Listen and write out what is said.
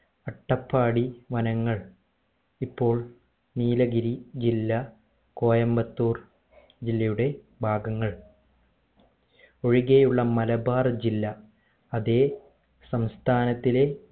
അട്ടപ്പാടി വനങ്ങൾ ഇപ്പോൾ നീലഗിരി ജില്ലാ കോയമ്പത്തൂർ ജില്ലയുടെ ഭാഗങ്ങൾ ഒഴികെ ഉള്ള മലബാർ ജില്ലാ അതെ സംസ്ഥാനത്തിലെ